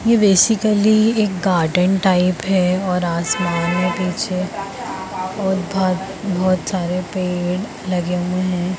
ये बेसिकली एक garden type है और आसमान में पीछे बहुत बहुत सारे पेड़ लगे हुए हैं।